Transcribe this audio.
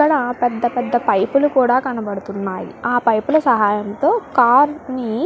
ఇక్కడ పెద్ద పెద్ద పైపులు కూడా కనబడుతున్నాయి ఆ పైపుల సహాయంతో కార్ ని.